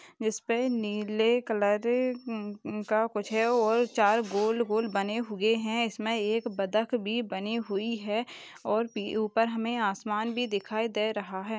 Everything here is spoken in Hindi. जिसपे नीले कलर का कुछ है और चार गोल-गोल बने हुए हैं इसमें एक बदक भी बानी हुई हैं और पी ऊपर हमें आसमान भी दिखाई दे रहा है।